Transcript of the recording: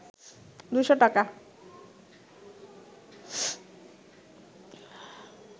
২০০ টাকা